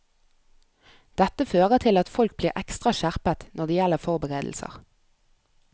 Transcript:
Dette fører til at folk blir ekstra skjerpet når det gjelder forberedelser.